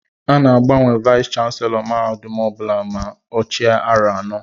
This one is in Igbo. A ná-agbanwe Vayis chansilọ mahadum ọbula ma ọ chia aro anọ.